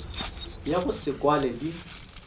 ya go se kwale di